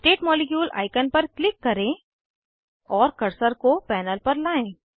rotate molecule icon पर click करें और कर्सर को पैनल पर लाएं